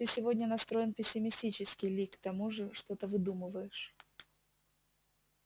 ты сегодня настроен пессимистически ли к тому же что-то выдумываешь